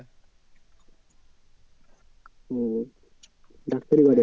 ও ডাক্তারি করে?